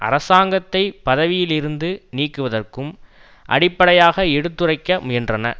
அரசாங்கத்தை பதவியிலிருந்து நீக்குவதற்கும் அடிப்படையாக எடுத்துரைக்க முயன்றன